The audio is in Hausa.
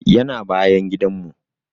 Yana bayan gidan mu